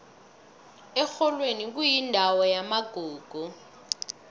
erholweni kuyindawo yamagugu